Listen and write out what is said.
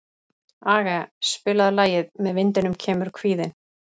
Aage, spilaðu lagið „Með vindinum kemur kvíðinn“.